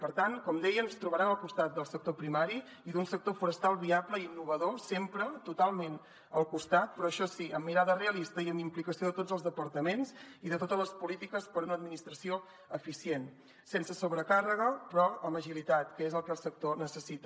per tant com deia ens trobaran al costat del sector primari i d’un sector forestal viable i innovador sempre totalment al costat però això sí amb mirada realista i amb implicació de tots els departaments i de totes les polítiques per a una administració eficient sense sobrecàrrega però amb agilitat que és el que el sector necessita